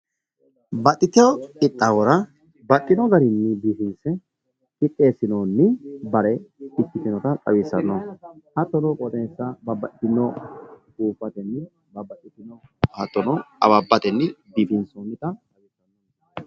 Baxiteewo qixaawora baxxinori garinni biifinse qixeessinoni bare ikkitinota xawissanno. hattono qooxeessa babbaxitino hattono awabbatenni biifinsoonnita.